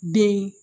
Den